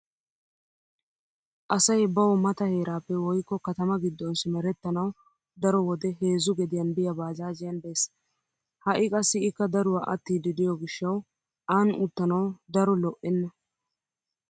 Asay bawu mata heeraappe woykko katama giddon simerettanawu daro wode heezzu gediyan biya baajaajiyan bees. Ha"i qassi ikka daruwa attiiddi diyo gishshawu aan uttanawu daro lo'enna.